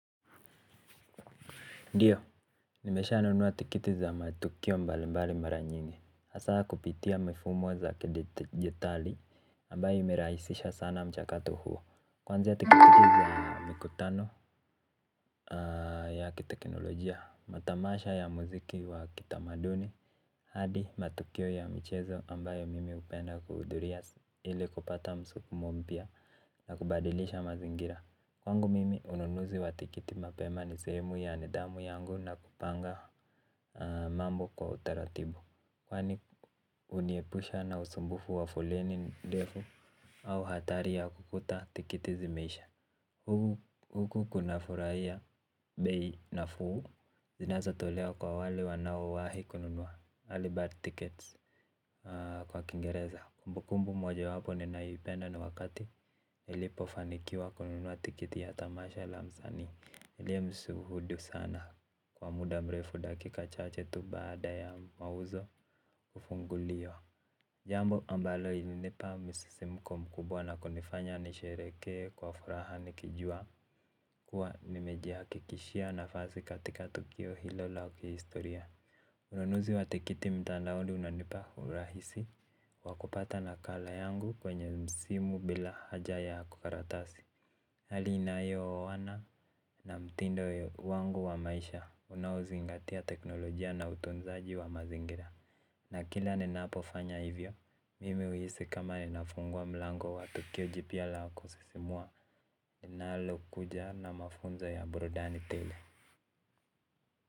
Ndiyo, nimesha nunua tikiti za matukio mbali mbali maranyingi hasa kupitia mifumo za kidijitali ambayo imerahisisha sana mchakato huo. Kwanza tikiti za mikutano ya kitekinolojia matamasha ya muziki wa kitamaduni hadi matukio ya michezo ambayo mimi hupenda kuhudhuria ili kupata msukumo mpya na kubadilisha mazingira. Kwa ngu mimi ununuzi wa tikiti mapema ni sehemu ya nidhamu yangu na kupanga mambo kwa utaratibu. Kwa ni huniepusha na usumbufu wa foleni ndefu au hatari ya kukuta tikiti zimeisha. Huku kuna furahia bei na fuu zinazo tolewa kwa wale wanaowahi kununua earlybird tickets kwa kingereza kumbukumbu moja wapo ninayopenda ni wakati nilipofanikiwa kununua tikiti ya tamasha la msanii niliye msuhudu sana kwa muda mrefu dakika chache tu baada ya mauzo kufunguliwa. Jambo ambalo ili nipa misisi mko mkubwa na kunifanya nishereheke kwa furaha nikijua kuwa nimejiha kikishia na fasi katika tukio hilo la kihistoria ununuzi wa tikiti mtandaoni unanipa urahisi wa kupata nakala yangu kwenye simu bila haja ya karatasi. Hali inayo oana na mtindo wangu wa maisha unao zingatia teknolojia na utunzaji wa mazingira. Na kila nina pofanya hivyo, mimi huhisi kama ninafungua mlango wa tukio jipyala kusisimua linalo kuja na mafunzo ya burudani tele.